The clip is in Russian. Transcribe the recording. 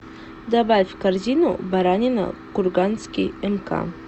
добавь в корзину баранина курганский мк